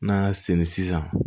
N'an y'a senni sisan